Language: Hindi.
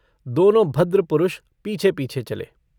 दोनों भद्र पुरुष पीछे-पीछे चले।